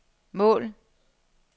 mål